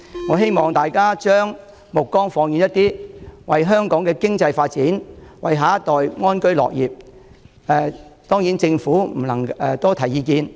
我希望大家將目光放遠一點，為香港經濟發展、為下一代安居樂業多提意見。